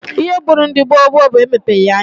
Ihe gburu ndị gboo gboo bụ emepeghi anya